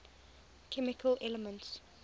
chemical elements